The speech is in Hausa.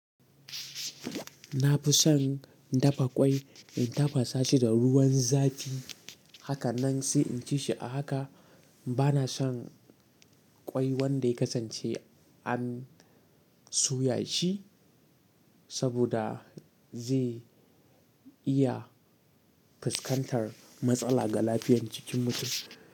Na fi son dafa kwai in tafasa shi da ruwan zafi, haka nan sai in ci shi a haka. Ba na son ƙwai wanda ya kasance an soya shi saboda zai iya fuskantar matsala ga lafiyar jikin mutum.